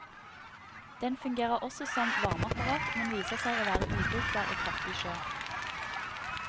Den fungerer også som varmeapparat, men viser seg å være ubrukbar i kraftig sjø.